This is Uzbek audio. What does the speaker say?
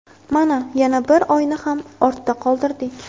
Mana, yana bir oyni ham ortda qoldirdik.